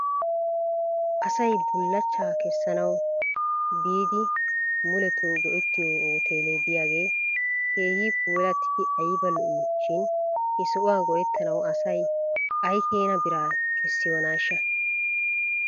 Asay bulachchaa kessanawu bi biididi muleto go'ettiyo hoteele diyaagee keehi puulattidi ayba lo'ii shin he sohuwaa go"ettanawu asay aykeena biraa kessiyoonaashsha?